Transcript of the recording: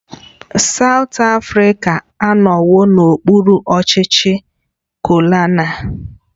South Africa anọwo n'okpuru ọchịchị kolonial